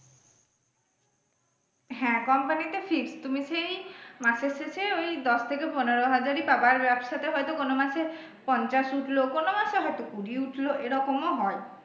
হ্যাঁ company তে fixed তুমি সেই মাসের শেষে ওই দশ থেকে পনেরো হাজারই পাবা আর ব্যবসা তে হয়ত কোনো মাসে পঞ্চাশ উঠলো কোনো মাসে হয়ত কুড়ি উঠলো এরকম ও হয়।